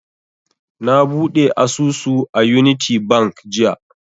Na buɗe asusu a unity bank jiya